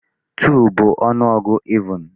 2 bụ ọnụọgụ even.